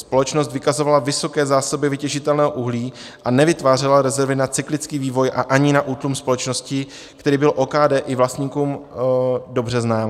Společnost vykazovala vysoké zásoby vytěžitelného uhlí a nevytvářela rezervy na cyklický vývoj a ani na útlum společnosti, který byl OKD i vlastníkům dobře znám.